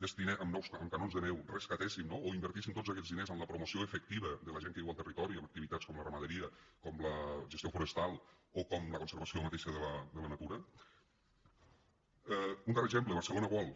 amb canons de neu rescatéssim no o invertíssim tots aquests diners en la promoció efectiva de la gent que viu al territori i en activitats com la ramaderia com la gestió forestal o com la conservació mateixa de la natura un darrer exemple barcelona world